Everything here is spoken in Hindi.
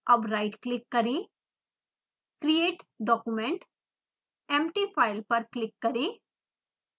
अब राइट क्लिक करें > create document > empty file पर क्लिक करें